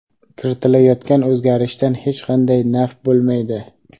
kiritilayotgan o‘zgarishdan hech qanday naf bo‘lmaydi.